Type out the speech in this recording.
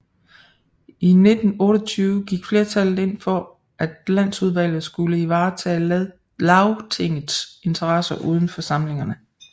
I 1928 gik flertallet ind for at Landsudvalget skulle ivaretage Lagtingets interesser udenfor samlingerne